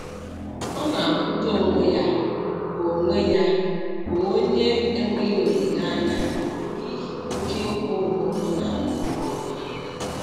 Ọ na-ahụta onwe ya ka onwe ya ka onye enweghị olileanya n'ihi oke ịkwụ ụgwọ ọ na-akwụ mgbe ọbụla